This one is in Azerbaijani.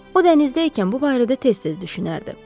O dənizdəykən bu barədə tez-tez düşünərdi.